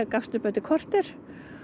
gafst upp eftir korter